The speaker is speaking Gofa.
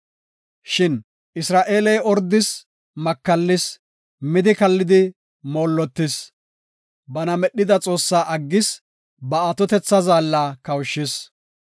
Shin Isra7eeley ordis; makallis; midi kallidi moollotis. Bana medhida Xoossaa aggis; ba Atotethaa Zaalla kawushis.